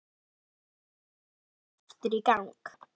Birkir setti upptökutækið aftur í gang.